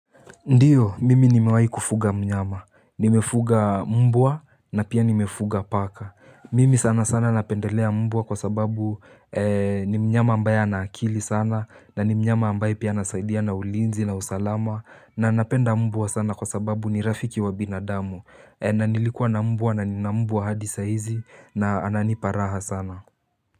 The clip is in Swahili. Ndiyo, mimi nimewai kufuga mnyama. Nimefuga mbwa na pia nimefuga paka. Mimi sana sana napendelea mmbua kwa sababu ni mnyama ambaye anakili sana na ni mnyama ambaye pia nasaidia na ulinzi na usalama na napenda mbwa sana kwa sababu ni rafiki wa binadamu. Na nilikua na mbwa na nina mbwa hadi saga hizi na ananiparaha sana.